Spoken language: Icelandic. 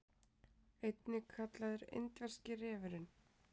einnig kallaður indverski refurinn